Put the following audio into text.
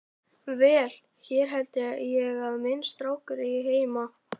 Vel, hér held ég að minn strákur eigi heima.